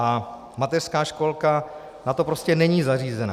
A mateřská školka na to prostě není zařízena.